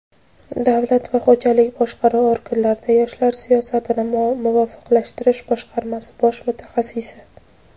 Davlat va xo‘jalik boshqaruv organlarida yoshlar siyosatini muvofiqlashtirish boshqarmasi bosh mutaxassisi.